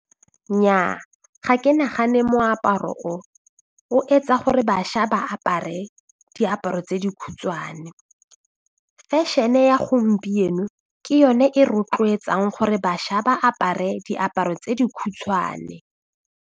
Nnyaa ga ke nagane moaparo o o etsa gore bašwa ba apare diaparo tse dikhutshwane fashion-e ya gompieno ke yone e rotloetsang gore bašwa ba apare diaparo tse dikhutshwane.